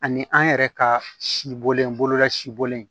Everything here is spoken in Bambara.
Ani an yɛrɛ ka sibɔlen bolola sibɔlen